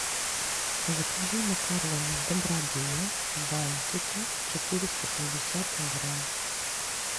закажи макароны добродея бантики четыреста пятьдесят грамм